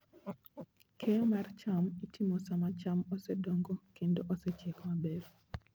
Keyo mar cham itimo sama cham osedongo kendo osechiek maber.